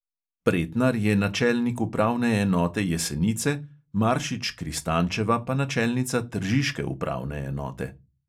Pretnar je načelnik upravne enote jesenice, maršič - kristančeva pa načelnica tržiške upravne enote.